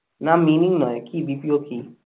না meaning নই কি BPO কি?